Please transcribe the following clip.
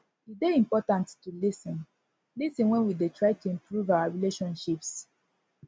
e dey important to lis ten lis ten wen we dey try to improve our relationships